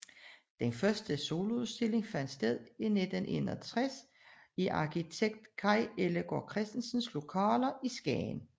Den første soloudstilling fandt sted i 1961 i arkitekt Kaj Ellegaard Christensens lokaler i Skagen